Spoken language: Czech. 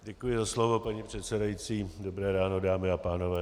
Děkuji za slovo, paní předsedající, dobré ráno, dámy a pánové.